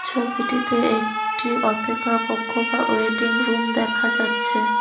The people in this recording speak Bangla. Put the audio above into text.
ছবিটিতে একটি অপেক্ষা কক্ষ বা ওয়েটিং রুম দেখা যাচ্ছে।